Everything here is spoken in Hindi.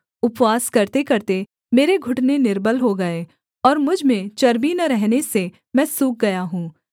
उपवास करतेकरते मेरे घुटने निर्बल हो गए और मुझ में चर्बी न रहने से मैं सूख गया हूँ